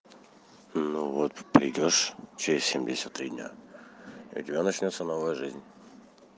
ну вот придёшь через семдесят три дня у тебя начнётся новая жизнь